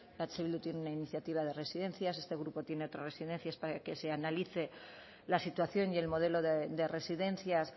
eh bildu tiene una iniciativa de residencias este grupo tiene otras residencias para que se analice la situación y el modelo de residencias